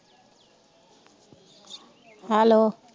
hello